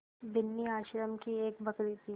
बिन्नी आश्रम की एक बकरी थी